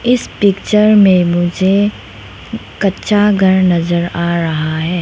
इस पिक्चर में मुझे कच्चा घर नजर आ रहा है।